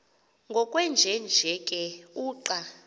ngokwenjenje ke uqa